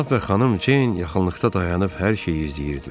Cənab və xanım Ceyn yaxınlıqda dayanıb hər şeyi izləyirdilər.